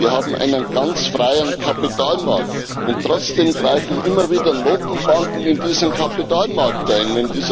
Wir haben einen ganz freien Kapitalmarkt, und trotzdem greifen immer wieder Notenbanken in diesen Kapitalmarkt ein.